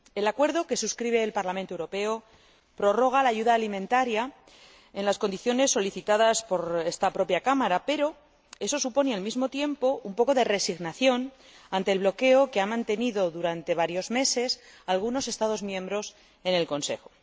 El acuerdo, que suscribe el Parlamento Europeo, prorroga la ayuda alimentaria en las condiciones solicitadas por esta propia Cámara, pero eso supone al mismo tiempo un poco de resignación ante el bloqueo que han mantenido durante varios meses algunos Estados miembros en el Consejo.